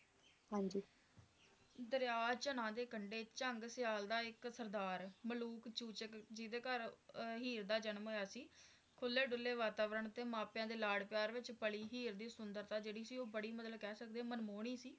ਦਰਿਆ ਚਨਾਹ ਦੇ ਕੰਡੇ ਝੰਗ ਸੇਆਂ ਦਾ ਇੱਕ ਸਰਦਾਰ ਮਲੂਕ ਚੂਚਕ ਜਿਹੜੇ ਘਰ ਹੀਰ ਦਾ ਜਨਮ ਹੋਇਆ ਸੀ ਖੁੱਲੇ ਦੁੱਲੇ ਵਾਤਾਵਰਨ ਤੇ ਮਾਪਿਆਂ ਦੇ ਲਾਡ ਪਿਆਰ ਵਿਚ ਪਲੀ ਹੀਰ ਦੀ ਸੁੰਦਰਤਾ ਸੀ ਉਹ ਬੜੀ ਜਿਹੜੀ ਕਹਿ ਸਕਦੇ ਆ ਮਨਮੋਹਣੀ ਸੀ